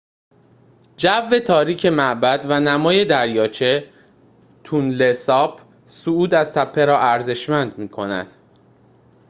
جو تاریک معبد و نمای دریاچه تونله ساپ صعود از تپه را ارزشمند می‌کند